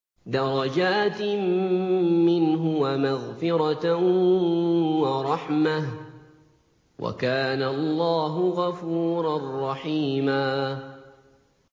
دَرَجَاتٍ مِّنْهُ وَمَغْفِرَةً وَرَحْمَةً ۚ وَكَانَ اللَّهُ غَفُورًا رَّحِيمًا